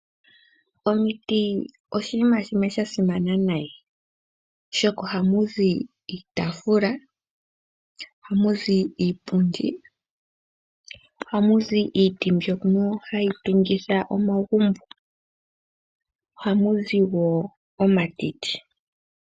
Omiti oshiima shimwe sha simana nayi oshoka ohamu zi iitaafula, ohamuzi iipundi, ohamu zi iiti mbyono hayi tungitha omagumbo, ohamu zi wo omatiti.